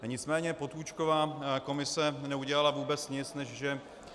Nicméně Potůčkova komise neudělala vůbec nic, než že -